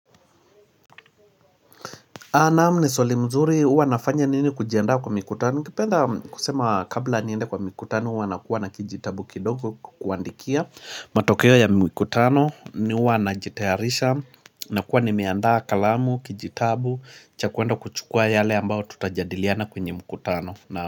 Naam ni swali mzuri, huwa nafanya nini kujiandaa kwa mikutano? Kupenda kusema kabla niende kwa mikutano huwa nakuwa na kijitabu kidogo kuandikia matokeo ya mikutano, mi huwa najitayarisha na kuwa nimeandaa kalamu, kijitabu cha kuenda kuchukua yale ambao tutajadiliana kwenye mikutano Naam.